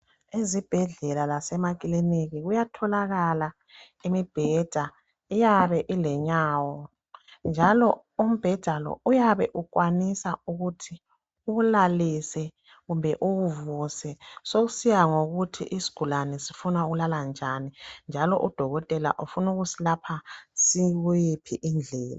Ezibhedlela lasemakiliniki kuyatholakala imibheda iyabe ilenyawo njalo umbheda lo uyabe ukwanisa ukuthi uwulalise kumbe uwuvuse sokusiya ngokuthi isigulane sifuna ukulala njani njalo udokotela ufuna ukusilapha sikuyiphi indlela.